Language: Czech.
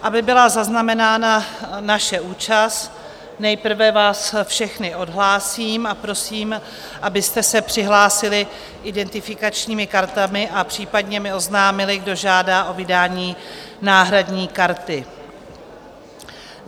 Aby byla zaznamenána naše účast, nejprve vás všechny odhlásím a prosím, abyste se přihlásili identifikačními kartami a případně mi oznámili, kdo žádá o vydání náhradní karty.